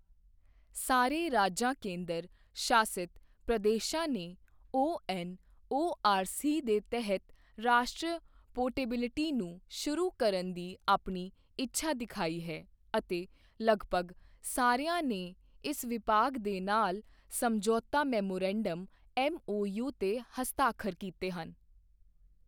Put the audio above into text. ਸਾਰੇ ਰਾਜਾਂ ਕੇਂਦਰ ਸ਼ਾਸਿਤ ਪ੍ਰਦੇਸ਼ਾਂ ਨੇ ਓਐੱਨਓਆਰਸੀ ਦੇ ਤਹਿਤ ਰਾਸ਼ਟਰੀ ਪੋਰਟੇਬਿਲਟੀ ਨੂੰ ਸ਼ੁਰੂ ਕਰਨ ਦੀ ਆਪਣੀ ਇੱਛਾ ਦਿਖਾਈ ਹੈ ਅਤੇ ਲਗਭਗ ਸਾਰਿਆਂ ਨੇ ਇਸ ਵਿਭਾਗ ਦੇ ਨਾਲ ਸਮਝੌਤਾ ਮੈਮੋਰੰਡਮ ਐੱਮਓਯੂ ਤੇ ਹਸਤਾਖ਼ਰ ਕੀਤੇ ਹਨ।